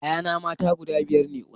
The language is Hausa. Ƴaƴana mata guda biyar ne